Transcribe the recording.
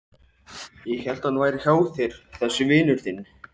Ég hélt að hann væri hjá þér þessi vinur þinn.